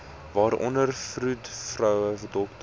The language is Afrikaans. waaronder vroedvroue dokters